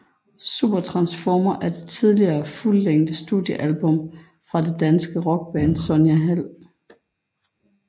Supertransformer er det tredje fuldlængde studiealbum fra det danske rockband Sonja Hald